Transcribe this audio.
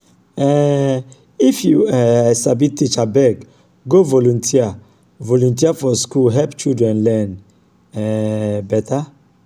um if you um sabi teach abeg go volunteer volunteer for school help children learn um beta.